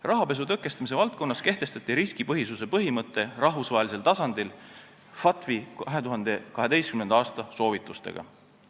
Rahapesu tõkestamise valdkonnas kehtestati riskipõhisuse põhimõte rahvusvahelisel tasandil FATF-i 2012. aasta soovitustega.